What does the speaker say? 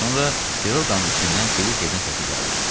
Bir qədər sonra Piroqanın içindən Kviçekin səsi gəldi.